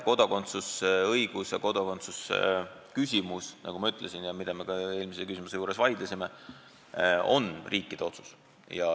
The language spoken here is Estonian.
Kodakondsusõigus ja kodakondsusküsimus, nagu ma ütlesin ja mille üle me ka eelmise küsimuse juures vaidlesime, on riikide otsus.